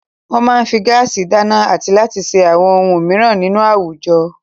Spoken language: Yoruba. Wọ́n máa ń fi gáásì dáná àti láti ṣe àwọn ohun mìíràn nínú àwùjọ.